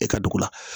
E ka dugu la